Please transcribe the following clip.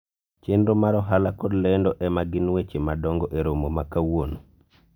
chenro mar ohala kod lendo ema gin weche madongo e romo ma kawuono